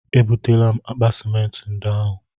E butela m akpa simenti ndị ahụ.